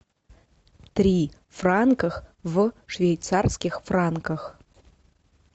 три франках в швейцарских франках